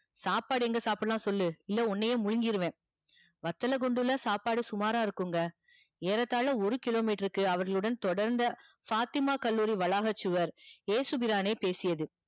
சாப்பாடு எங்க சாப்டலானு சொல்லு இல்லனா உன்னையே முழிங்கிடுவ வத்தல குண்டுல சாப்பாடு சுமாரா இருக்குங்க ஏறத்தால ஒரு kilo metre க்கு அவர்களுடன் தொடர்ந்த பாத்திமா கல்லூரி வளாக சுவர் இயேசு பிரானே பேசியது